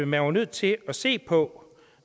man var nødt til at se på